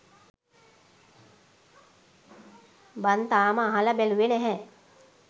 බන් තාම අහල බැලුවෙ නැහැ